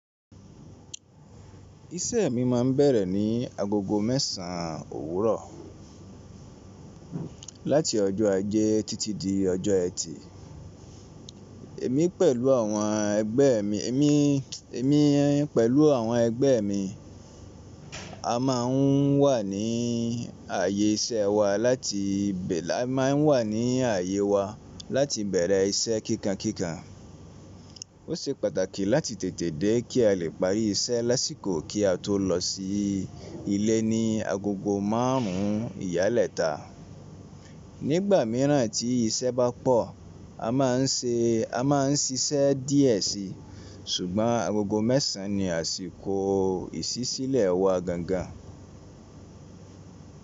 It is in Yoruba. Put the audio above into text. Isẹ́ mi ma ń bẹ̀rẹ̀ ní agogo mẹ́sàn owurọ̀ láti ọjọ ajẹ́ títí di ọjọ́ ẹtì. Èmi pẹ̀lú àwọn ẹgbẹ́ mi a má ń wà ní ààyè wa láti bẹ̀rẹ̀ iṣẹ́ kíkankíkan. Ó ṣe pàtàkì láti tètè dé kí a lè parí iṣẹ́ lásìkò kí a tó lọ sí ilé ní agogo márùn ún ìyálẹ́ta. Nígbà míràn tí iṣẹ́ bá pọ̀, a má ń ṣiṣẹ́ díẹ̀ síi, ṣùgbọ́n agogo mẹ́sàn ni àsìkò ìṣísílẹ̀ wa gangan.